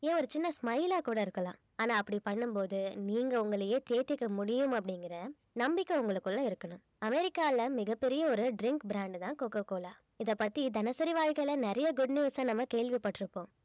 ஏன் ஒரு சின்ன smile ஆ கூட இருக்கலாம் ஆனா அப்படி பண்ணும் போது நீங்க உங்களையே தேத்திக்க முடியும் அப்படிங்கிற நம்பிக்கை உங்களுக்குள்ள இருக்கணும். அமெரிக்கால மிகப்பெரிய ஒரு drink brand தான் கோகோ கோலா இதைப்பத்தி தினசரி வாழ்க்கையில நிறைய good news அ நம்ம கேள்விப்பட்டிருப்போம்